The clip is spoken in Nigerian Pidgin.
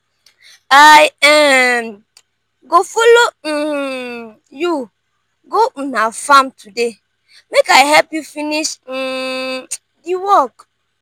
i um go folo um you go una farm today make i help you finish um di work.